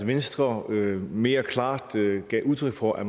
venstre mere klart gav udtryk for at